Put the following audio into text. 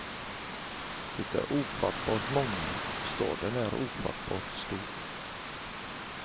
Det är ofattbart många, och staden är ofattbart stor.